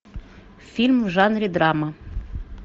фильм в жанре драма